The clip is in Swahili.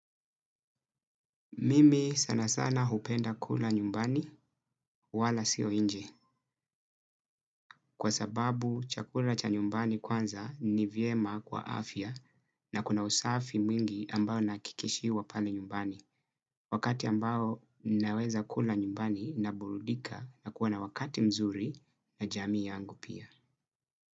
Mimi sana sana hupenda kula nyumbani wala siyo inje kwa sababu chakula cha nyumbani kwanza ni vyema kwa afya na kuna usafi mwingi ambao nakikishiwa pale nyumbani wakati ambao ninaweza kula nyumbani na burudika na kuwa na wakati mzuri na jami yangu pia.